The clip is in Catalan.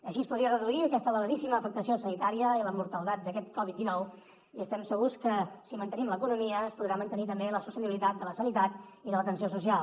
així es podria reduir aquesta elevadíssima afectació sanitària i la mortaldat d’aquest covid dinou i estem segurs que si mantenim l’economia es podrà mantenir també la sostenibilitat de la sanitat i de l’atenció social